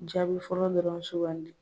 Jaabi fɔlɔ dɔrɔn suugandi